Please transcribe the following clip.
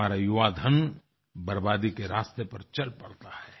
हमारा युवाधन बर्बादी के रास्ते पर चल पड़ता है